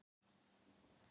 Allsgáðir eða ekki